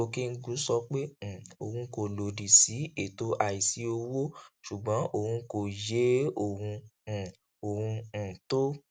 okengwu sọ pé um òun kò lòdì sí ètò àìsí owó ṣùgbọn òun kò yé ohun um ohun um tó